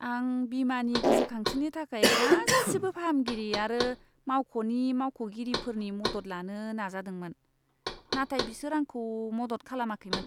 आं बीमानि गोसोखांथिनि थाखाय गासिबो फाहामगिरि आरो मावख'नि मावख'गिरिफोरनि मदद लानो नाजादोंमोन। नाथाय बिसोर आंखौ मदद खालामाखैमोन।